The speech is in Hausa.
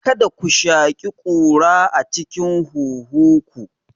Kada ku shaƙi ƙura a cikin huhu ku!